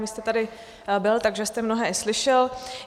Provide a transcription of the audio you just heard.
Vy jste tady byl, takže jste mnohé i slyšel.